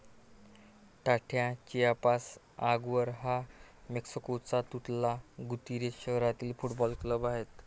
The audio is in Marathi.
टाथा चियापास आगवर हा मेक्सिकोच्या तुतला गुतीरेझ शहारातील फुटबॉल क्लब आहे.